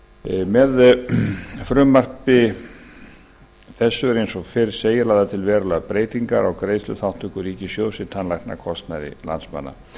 með frumvarpi þessu eru eins og fyrr segir lagðar til verulegar breytingar á greiðsluþátttöku ríkissjóðs í tannlæknakostnaði landsmanna